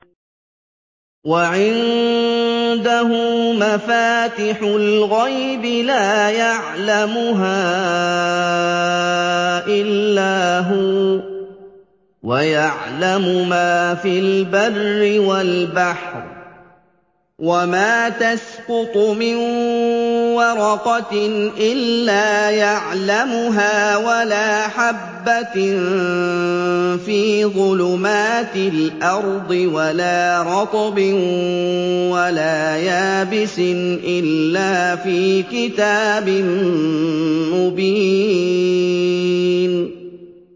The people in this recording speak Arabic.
۞ وَعِندَهُ مَفَاتِحُ الْغَيْبِ لَا يَعْلَمُهَا إِلَّا هُوَ ۚ وَيَعْلَمُ مَا فِي الْبَرِّ وَالْبَحْرِ ۚ وَمَا تَسْقُطُ مِن وَرَقَةٍ إِلَّا يَعْلَمُهَا وَلَا حَبَّةٍ فِي ظُلُمَاتِ الْأَرْضِ وَلَا رَطْبٍ وَلَا يَابِسٍ إِلَّا فِي كِتَابٍ مُّبِينٍ